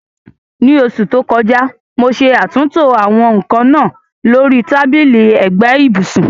Ní oṣù tó kọjá, mo ṣe àtúntò àwọn nkan náà lórí tábìlì ẹ̀gbẹ́ ibùsùn.